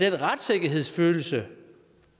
retssikkerhedsfølelse